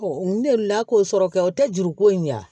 n delila k'o sɔrɔ kɛ o tɛ juruko in ɲɛ